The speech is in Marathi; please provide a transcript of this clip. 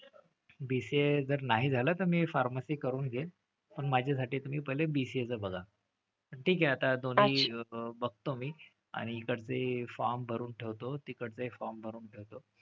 BCA जर नाही झालं तर मी pharmacy करून घेईन. पण माझ्यासाठी तुम्ही पहिले BCA चं बघा. ठीक आहे आता दोन्ही बघतो मी. आणि इकडचे form भरून ठेवतो. तिकडचेही form भरून ठेवतो.